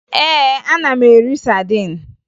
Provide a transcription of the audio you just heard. Ee, ana m eri sadin